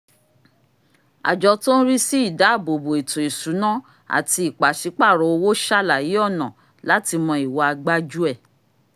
àjọ tó n rí sí ìdáàbòbo ètò ìsúná àti ìpàsípàrọ̀ owó ṣàlàyé ọ̀nà láti mọ ìwa gbájúẹ̀